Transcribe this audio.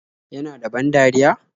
Yana da ban dariya?